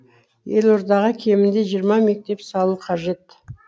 елордаға кемінде жиырма мектеп салу қажет